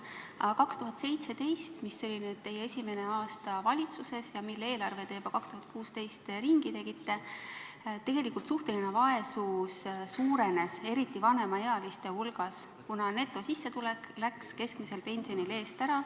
Aga 2017. aastal, mis oli teie esimene aasta valitsuses ja mille eelarve te juba 2016. aastal ringi tegite, tegelikult suhteline vaesus suurenes, eriti vanemaealiste hulgas, kuna netosissetulek läks keskmisel pensionil eest ära.